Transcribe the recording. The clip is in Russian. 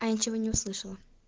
я ничего не услышала